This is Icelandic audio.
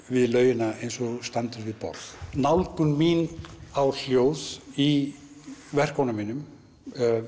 við laugina eins og þú standir við borð nálgun mín á hljóð í verkunum mínum